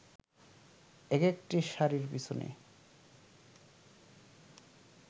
একেকটি শাড়ির পেছনে